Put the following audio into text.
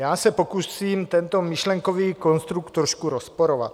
Já se pokusím tento myšlenkový konstrukt trošku rozporovat.